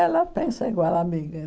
Ela pensa igual, amiga.